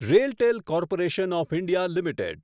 RailTel Corporation of India limited